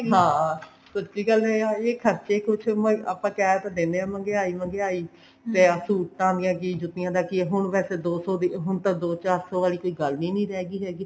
ਹਾਂ ਦੂਸਰੀ ਗੱਲ ਇਹ ਆ ਗਈ ਖਰਚੇ ਕੁੱਛ ਨੀ ਆਪਾਂ ਕਹਿ ਤਾਂ ਦਿੰਦੇ ਹਾਂ ਮਹਿੰਗਿਆਈ ਮਹਿੰਗਿਆਈ ਮੈਂ ਸੂਟਾਂ ਦੀਆਂ ਜੁੱਤੀਆਂ ਦਾ ਕੀ ਹੁਣ ਵੈਸੇ ਦੋ ਸੋ ਹੁਣ ਤਾਂ ਦੋ ਚਾਰ ਸੋ ਵਾਲੀ ਕੋਈ ਗੱਲ ਹੀ ਨਹੀਂ ਰਹਿਗੀ ਹੈਗੀ